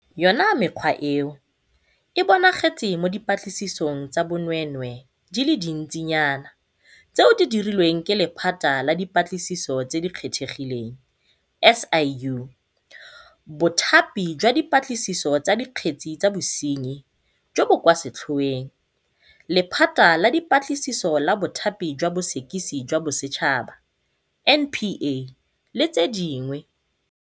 Yona mekgwa eo e bonagetse mo dipatlisisong tsa bonweenwee di le dintsi nyana tseo di dirilweng ke Lephata la Dipatlisiso tse di Kgethegileng, SIU, Bothapi jwa Dipatlisiso tsa Dikgetse tsa Bosenyi jo bo kwa Setlhoeng, Lephata la Dipatlisiso la Bothapi jwa Bosekisi jwa Bosetšhaba, NPA, [, le tse dingwe.